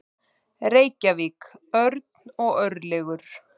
Reykjavík: Örn og Örlygur.